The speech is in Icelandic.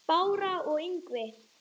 Bára og Ingvi.